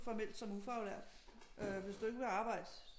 Formelt som ufaglært øh hvis du ikke vil arbejde